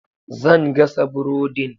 Zan gasa burodin.